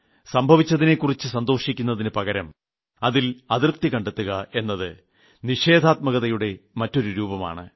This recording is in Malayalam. സംഭവിച്ചതിനെക്കുറിച്ച് സന്തോഷിക്കുന്നതിന് പകരം അതിൽ അതൃപ്തി കണ്ടെത്തുക എന്നത് നിഷേധാത്മകതയുടെ മറ്റൊരു രൂപമാണ്